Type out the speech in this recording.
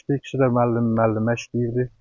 İkisi də müəllim, müəllimə işləyirdi.